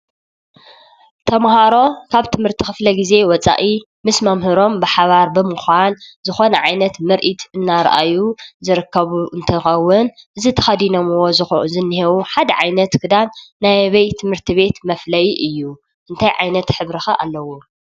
ተማሃሮ ካብ ትምህርቲ ክፍለ ግዜ ወፃኢ ምስ መምህሮም ብሓባር ብምኳን ዝኮነ ዓይነት ምርኢት እናርአዩ ዝርከቡ እንትከውን እዚ ተከዲነሞ ዝንሄዉ ሓደ ዓይነት ክዳን ናይ ኣበይ ቤት ትምህርቲ መፍለይ እዩ? እንታይ ዓይነት ሕብሪ ከ አለዎ?